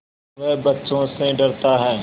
वह बच्चों से डरता है